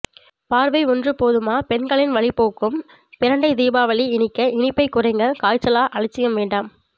பார்வை ஒன்று போதுமா பெண்களின் வலி போக்கும் பிரண்டை தீபாவளி இனிக்க இனிப்பைக் குறைங்க காய்ச்சலா அலட்சியம் வேண்டாம்